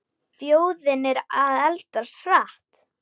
Þjóðin er að eldast hratt.